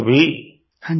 प्रेम जी हाँ जी